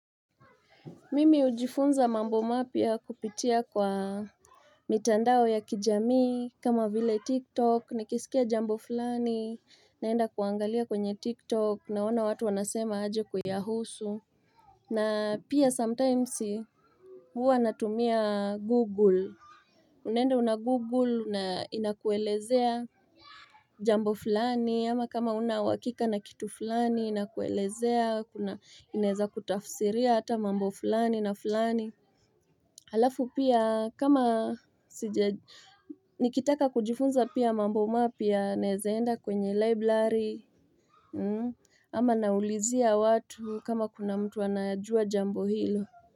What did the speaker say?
Mimi hujifunza mambo mapya kupitia kwa mitandao ya kijamii kama vile tiktok nikisikia jambo fulani naenda kuangalia kwenye tiktok naona watu wanasema aje kuyahusu na pia sometimesi huwa natumia google Unaenda una google na inakuelezea Jambo fulani ama kama hauna uwakika na kitu fulani inakuelezea kuna inaeza kutafsiria hata mambo fulani na fulani Halafu pia kama sijaj nikitaka kujifunza pia mambo mapya naezaenda kwenye library mmm ama naulizia watu kama kuna mtu anayajua jambo hilo.